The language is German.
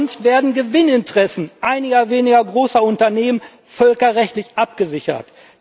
Sonst werden Gewinninteressen einiger weniger großer Unternehmen völkerrechtlich abgesichert.